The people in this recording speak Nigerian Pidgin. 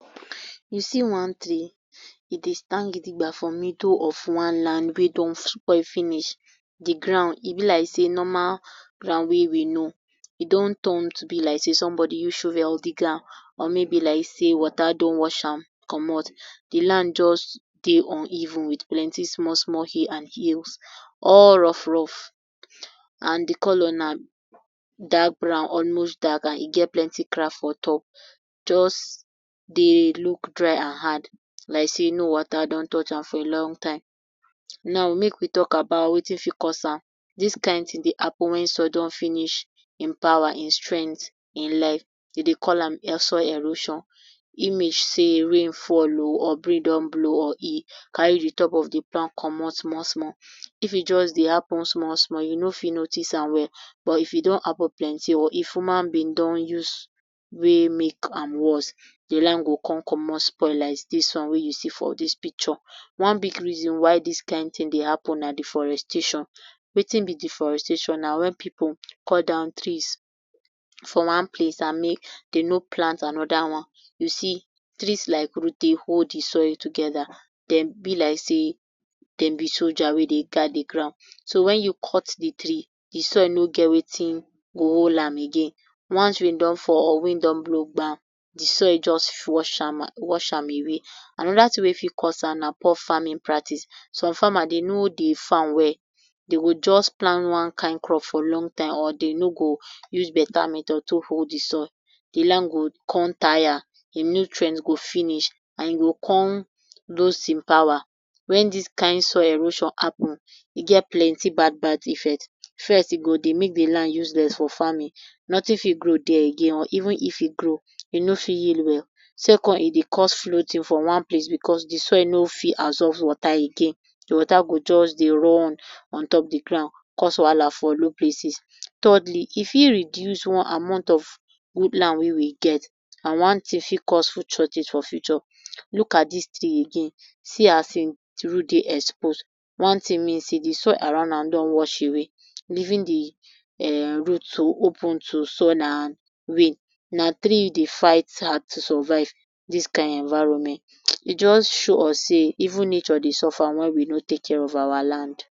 You see one tree e dey stand gidigba for middle of one land wey don spoil finish di ground e be like sey normal ground wey we know e turn to be like sey somebody use shovel dig am or e be like sey water don wash am commot di land just dey uneven with plenty small small hill and hills all rough rough and di colour na dark brown almost dark and e get plenty crack for top just dey look dry and hard just like sey no water don touch am for a long time now make we talk about wetin cause am dis kind thing dey happen when soil don finish ein power ein strength e life we dey call am soil erosion e means say rain fall oh or breeze oh or e carry de top of de ground commot small small if e just dey happen small small you nor fit notice am well or e fit don happen plenty if human being don use wey make am worst di land go come commot spoil like dis one wey you see for dis picture. One big reason why dis kind thing dey happen na deforestation. Wetin be deforestation na when pipu cut down trees for wan place and dem nor plant another one you see place like root dey hold di soil togther dem be like sey dem be soldier wey dey guide de ground so when you cut the tree de soil nor get wetin go hold am again once rain don fall breeze don blow gbam dey soil just flush just wash am away another thing wey fit cause am na poor farming practice so farmer dem nor dey farm well dem go just plant one kind crop for long time dem nor go use better method take hold di soil di land go come tire de nutrient go finish and e come lose e power when dis kind soil erosion happen e get plenty bad bad effect first e go make di land useless for farming nothing fit grow there again even if e grow e nor fit yield well second e dey cause floating for one place because di soil nor fit absorb water again de water go just de run on top de ground cause wahala for unknown places thirdly e fit reduce one amount of good land wey we get and one thing fit cause future things for future look at dis thing again see as de root dey expose wone thing mean sey dey soil around am don wash away leaving um de root to open to sun and rain and na tree dey fight hard to survive dis kind environment e just show us sey even nature dey suffer when we nor take care of our land.